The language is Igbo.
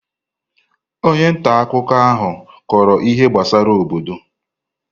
Onye nta akụkọ ahụ kọrọ ihe gbasara obodo.